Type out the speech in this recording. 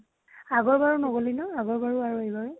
আগৰ বাৰো নগলি ন? আগৰ বাৰো আৰু এইবাৰো।